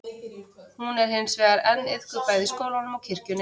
hún er hins vegar enn iðkuð bæði í skólanum og kirkjunni